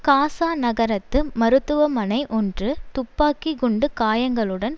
காசா நகரத்து மருத்துவமனை ஒன்று துப்பாக்கி குண்டு காயங்களுடன்